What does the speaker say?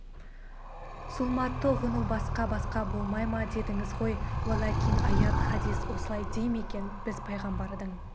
зұлматты ұғыну басқа-басқа болмай ма дедіңіз ғой уәлакин аят хадіс осылай дей ме екен біз пайғамбардың